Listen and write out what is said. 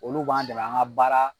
Olu b'an dɛmɛ an ka baara